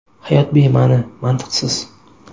Hayot bema’ni, mantiqsiz.